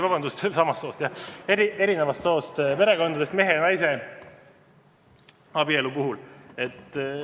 Vabandust, mitte samast soost, vaid eri soost inimeste perekondades, mehe ja naise abielu puhul.